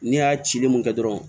Ne y'a cili mun kɛ dɔrɔn